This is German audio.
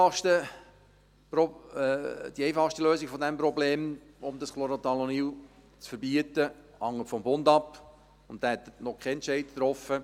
Die einfachste Lösung dieses Problems, um dieses Chlorothalonil zu verbieten, hängt vom Bund ab, und dieser hat noch keinen Entscheid getroffen.